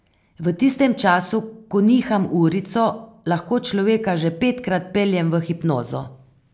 V tistem času, ko niham urico, lahko človeka že petkrat peljem v hipnozo.